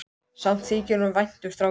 Samt þykir honum vænt um strákinn.